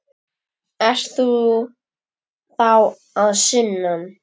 Ert þú sá að sunnan?